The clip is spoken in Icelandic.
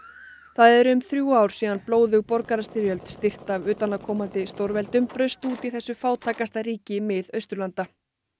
það eru um þrjú ár síðan blóðug borgarastyrjöld styrkt af utanaðkomandi stórveldum braust út í þessu fátækasta ríki Miðausturlanda